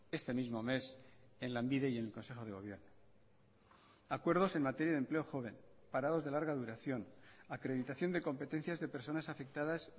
este mismo mes en lanbide y en el consejo de gobierno acuerdos en materia de empleo joven parados de larga duración acreditación de competencias de personas afectadas